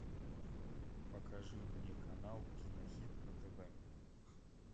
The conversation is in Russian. покажи мне канал кинохит на тв